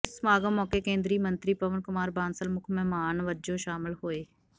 ਇਸ ਸਮਾਗਮ ਮੌਕੇ ਕੇਂਦਰੀ ਮੰਤਰੀ ਪਵਨ ਕੁਮਾਰ ਬਾਂਸਲ ਮੁੱਖ ਮਹਿਮਾਨ ਵਜੋਂ ਸ਼ਾਮਲ ਹੋਏ